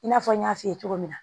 I n'a fɔ n y'a f'i ye cogo min na